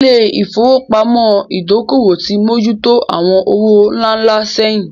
Ilé ìfowópamọ́ Ìdókòwò ti mójú tó àwọn owó ńlá ńlá sẹ́yìn